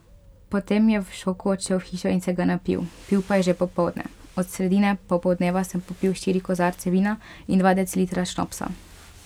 Po tem je v šoku odšel v hišo in se ga napil, pil pa je že popoldne: 'Od sredine popoldneva sem popil štiri kozarce vina in dva decilitra šnopsa.